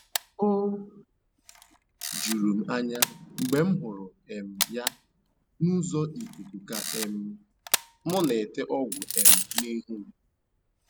O juru m anya mgbe m hụrụ um ya n’ụzọ ikuku ka um m na-ete ọgwụ um ihu m